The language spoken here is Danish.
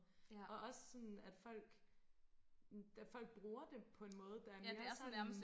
og også sådan at folk da folk bruger det på en måde der er mere sådan